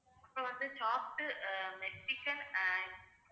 அப்புறம் வந்து chopped uh mexican and